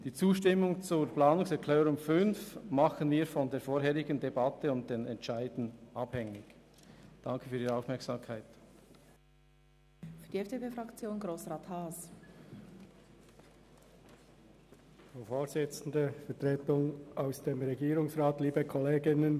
Die Zustimmung zur Planungserklärung 5 machen wir von der vorangehenden Debatte und den jeweiligen Entscheiden abhängig.